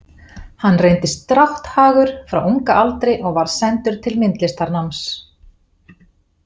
Hann reyndist drátthagur frá unga aldri og var sendur til myndlistarnáms.